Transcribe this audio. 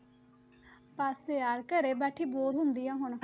ਬਸ ਯਾਰ ਘਰੇ ਬੈਠੀ bore ਹੁੰਦੀ ਹਾਂ ਹੁਣ।